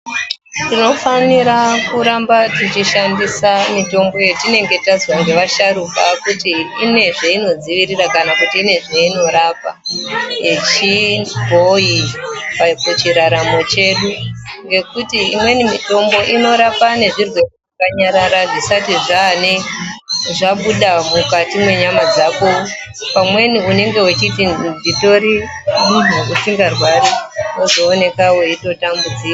Tinofanira kuramba techishandisa mitombo yatinenge tazwa ngevasharukwa kuti ine zveinodziirira kana zveinorapa yechibhoyi pachiraramo chedu, ngekuti imweni mitombo inorapa nezvirwere zvakanyarara zvisati zvane.. zvabuda mwukati mwenyama dzako. Pamweni unenge uchiti nditori munhu usingarwari wozooneka weitota mbudzika.